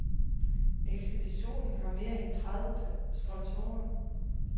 Ekspeditionen har mere end tredive sponsorer.